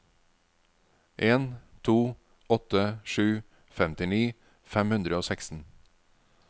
en to åtte sju femtini fem hundre og seksten